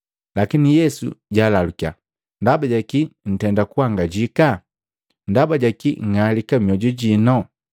Lakini Yesu jalalukiya, “Ndaba ja kii ntenda kuangajika? Ndaba jaki nng'alika mmoju jino?